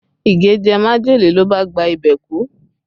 Ige jẹ majele ló bá gba ibẹ̀ kú